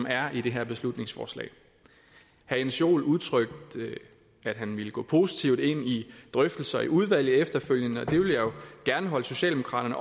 er i det her beslutningsforslag herre jens joel udtrykte at han ville gå positivt ind i drøftelser i udvalget efterfølgende og det vil jeg jo gerne holde socialdemokraterne